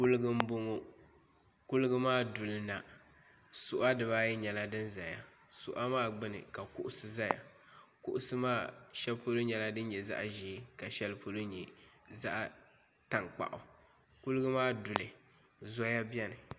Koliga m bɔŋɔ kuliga maa duli na suɣa dibaa ayi nyɛla dini zaya suɣa maa gbuni ka kuɣusi zaya k maa shɛli polo nyɛla dinni nyɛ zaɣi zɛɛ ka di shɛli polo nyɛ zaɣi tankpaɣu kuliga maa duli zoya bɛni.